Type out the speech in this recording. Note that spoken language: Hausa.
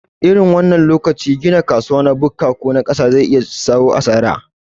A irin wannan lokaci gina kasuwa na bukka ko ƙasa zai iya jayo asara